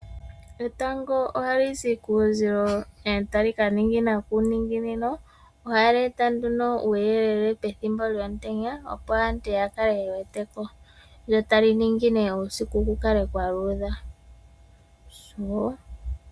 Etango ohali zi kuuzilo e tali ka ningina kuuningino. Ohali eta uuyelele ne nduno pethimbo lyomutenya opo aantu ya kale ye wete ko. Ohali ningine uusiku opo ku kale kwa luudha.